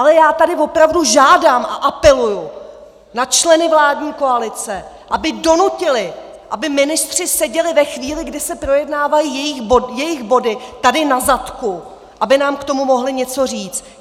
Ale já tady opravdu žádám a apeluji na členy vládní koalice, aby donutili, aby ministři seděli ve chvíli, kdy se projednávají jejich body, tady na zadku, aby nám k tomu mohli něco říct.